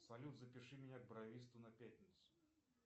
салют запиши меня к бровисту на пятницу